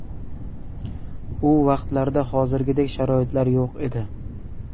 U vaqtlarda hozirgidek sharoitlar yo‘q edi.